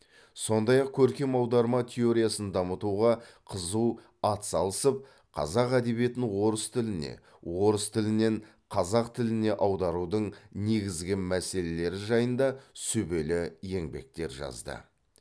сондай ақ көркем аударма теориясын дамытуға қызу ат салысып қазақ әдебиетін орыс тіліне орыс тілінен қазақ тіліне аударудың негізгі мәселелері жайында сүбелі еңбектер жазды